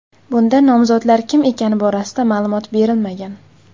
Bunda nomzodlar kim ekani borasida ma’lumot berilmagan.